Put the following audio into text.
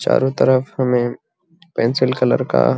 चारो तरफ हमे पेंसिल कलर का --